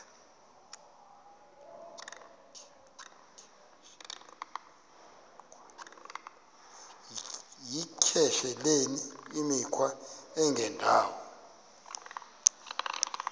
yityesheleni imikhwa engendawo